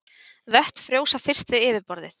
Vötn frjósa fyrst við yfirborðið.